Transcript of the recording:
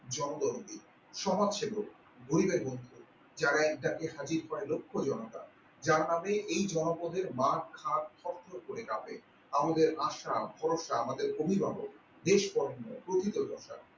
জনদরদী সমাজসেবক গরিবের বন্ধু যারা এই তাকে সাক্ষী পাই লক্ষ্য জনতা। যার নামে এই জনপথের মাঠ ঘাট থরথর করে কাঁপেআমাদের আশা ভরসা আমাদের অভিভাবক দেশ অরণ্য প্রকৃত দশা